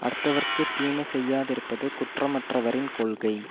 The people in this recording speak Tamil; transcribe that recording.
அடுத்தவர்க்குத் தீமை செய்யாதிருப்பது குற்றமற்றவரின் கொள்கை